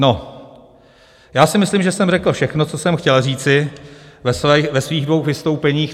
No, já si myslím, že jsem řekl všechno, co jsem chtěl říci ve svých dvou vystoupeních.